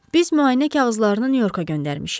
Biz müayinə kağızlarını Nyu-Yorka göndərmişik.